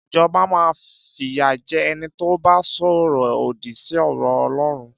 Ìjọbá mà fiya jẹ̀ ẹni to bà sọrọ òdí sí ọrọ ọlọrún.